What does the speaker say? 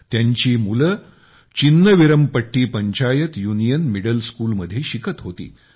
त्यांची मुले Chinnaveerampatti panchayat union middle school मध्ये शिकत होती